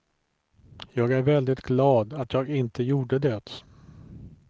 Jag är väldigt glad att jag inte gjorde det.